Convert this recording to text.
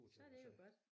Så det jo godt